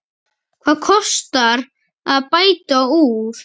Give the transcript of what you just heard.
Hvað kostar að bæta úr?